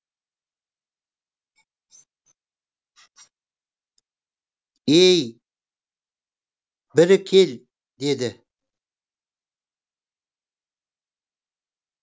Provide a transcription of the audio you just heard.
ей бірі кел деді